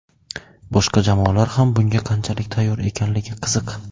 Boshqa jamoalar ham bunga qanchalik tayyor ekanligi qiziq.